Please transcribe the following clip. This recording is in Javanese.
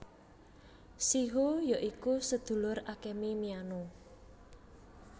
Shiho ya iku sedulur Akemi Miyano